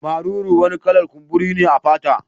Maruru wani kala'r kumburi ne a fata.